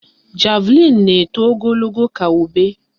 Javlịn na-eto ogologo ka ube